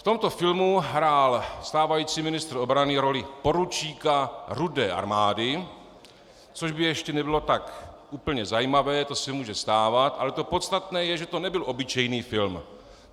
V tomto filmu hrál stávající ministr obrany roli poručíka Rudé armády, což by ještě nebylo tak úplně zajímavé, to se může stávat, ale to podstatné je, že to nebyl obyčejný film.